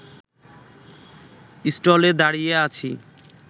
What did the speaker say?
স্টলে দাঁড়িয়ে আছি